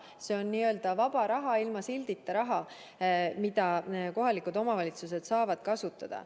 See on n-ö vaba raha, ilma sildita raha, mida kohalikud omavalitsused saavad kasutada.